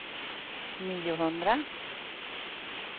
niohundra